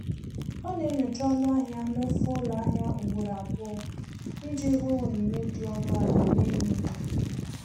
Ọ na-enyocha ọnụ ahịa n'ofe ụlọ ahịa ugboro abụọ iji hụ onyinye dị ọnụ ala na-enyo enyo.